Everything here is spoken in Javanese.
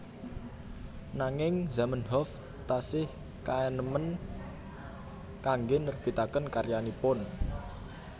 Nanging Zamenhof tasih kaenèmen kanggé nerbitaken karyanipun